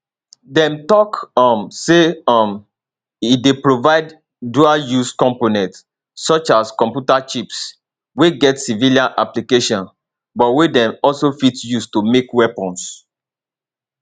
dem tok um say um e dey provide dualuse components such as computer chips wey get civilian applications but wey dem also fit use to make weapons